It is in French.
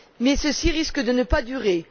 Mais cela risque de ne pas durer.